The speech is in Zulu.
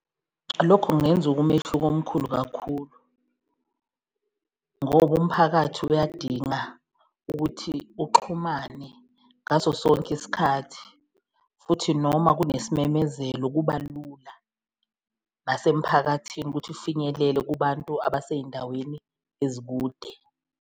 Lokhu kungenza umehluko omkhulu kakhulu ngoba umphakathi uyadinga ukuthi uxhumane ngaso sonke isikhathi, futhi noma kunesimemezelo kuba lula nasemphakathini ukuthi ufinyelele kubantu abaseyindaweni ezikude.